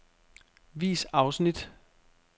Vis afsnit.